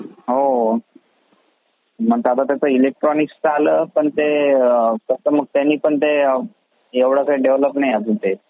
हो मग आता ते इलेक्ट्रॉनिक्स चा आला पण ते त्याचा त्यानी पण एवढा काही डेव्हलप नाही ते.